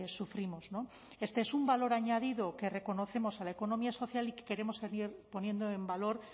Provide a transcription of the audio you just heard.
sufrimos este es un valor añadido que reconocemos a la economía social y que queremos seguir poniendo en valor